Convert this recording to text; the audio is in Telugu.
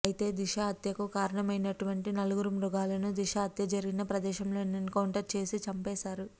అయితే దిశ హత్యకు కారణమైనటువంటి నలుగురు మృగాలను దిశ హత్య జరిగిన ప్రదేశంలోనే ఎన్ కౌంటర్ చేసి చంపేశారు